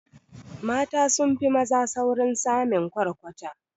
Mata sunfi maza saurin samin kwarkwata